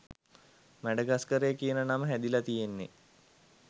මැඩගස්කරය කියන නම හැදිලා තියෙන්නේ